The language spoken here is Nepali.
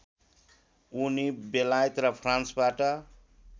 उनी बेलायत र फ्रान्सबाट